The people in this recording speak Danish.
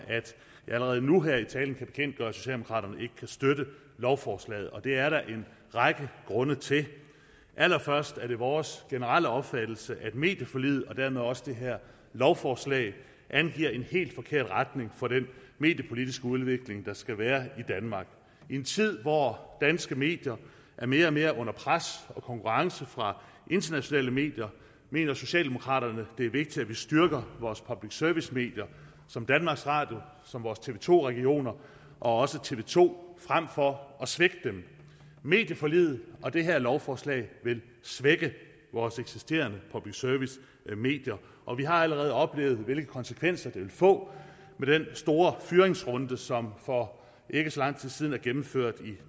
allerede nu her i talen kan bekendtgøre at socialdemokraterne ikke kan støtte lovforslaget det er der en række grunde til allerførst er det vores generelle opfattelse at medieforliget og dermed også det her lovforslag angiver en helt forkert retning for den mediepolitiske udvikling der skal være i danmark i en tid hvor danske medier er mere og mere under pres og konkurrence fra internationale medier mener socialdemokraterne det er vigtigt at vi styrker vores public service medier som danmarks radio vores tv to regioner og også tv to frem for at svigte dem medieforliget og det her lovforslag vil svække vores eksisterende public service medier og vi har allerede oplevet hvilke konsekvenser det vil få med den store fyringsrunde som for ikke så lang tid siden er gennemført i